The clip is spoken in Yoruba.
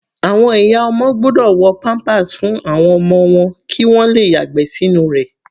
Àwọn ìyá ọmọ gbọ́dọ̀ wọ pampers fún àwọn ọmọ wọn kí wọn le yàgbẹ́ sínú rẹ̀.